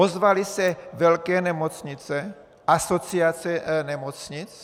Ozvaly se velké nemocnice, asociace nemocnic?